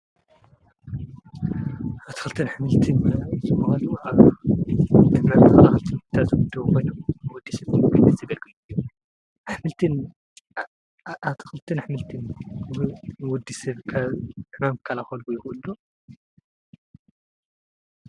ኣቲኽልትን ሕምልትን ዘምዋልዉሃ ድማም ኸልኽልቲ ምታ ዘጕድዉበን ወዲሴብ ምሙ ጕኒ ዘበልግየ ሕምልንኣቲክልትን ኃምልትን ብወዲ ሴብካ ሕማም ክካላከሉ ይክእሉ ዶ?